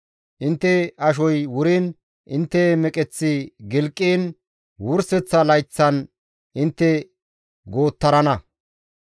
Intte ashoy wuriin, intte meqeththi gilqiin wurseththa layththan intte goottarana.